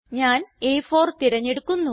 ഞാൻ അ4 തിരഞ്ഞെടുക്കുന്നു